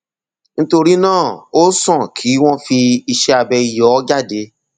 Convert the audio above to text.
nítorí náà ó sàn kí wọn fi iṣẹ abẹ yọ ọ jáde